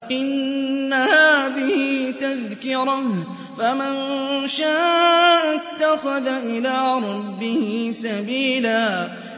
إِنَّ هَٰذِهِ تَذْكِرَةٌ ۖ فَمَن شَاءَ اتَّخَذَ إِلَىٰ رَبِّهِ سَبِيلًا